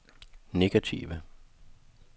negative